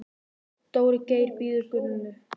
Dóri Geir bíður Gunnu.